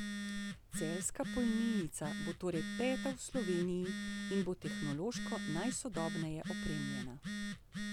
Celjska polnilnica bo torej peta v Sloveniji in bo tehnološko najsodobneje opremljena.